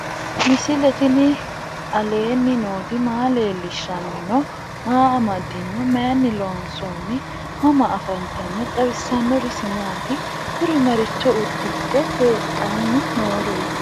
misile tini alenni nooti maa leelishanni noo? maa amadinno? Maayinni loonisoonni? mama affanttanno? xawisanori isi maati? kuri maricho udidhe hadhanni nooreti?